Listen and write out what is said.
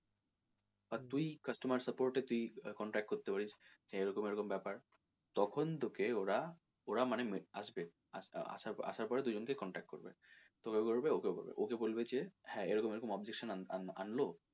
আর তুই customer support এ তুই contract করতে পারিস এরকম এরকম ব্যাপার তখন তোকে ওরা ওরা মানে আসবে আসা~আসার পরে দুজন কে contact করবে তেও করবে ওকেও করবে ওকে বলবে যে হ্যাঁ এরকম এরকম objection আনলো,